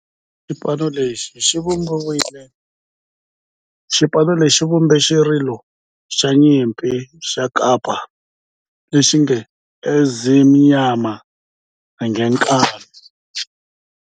Xipano lexi xi vumbe xirilo xa nyimpi xa kampa lexi nge 'Ezimnyama Ngenkani'.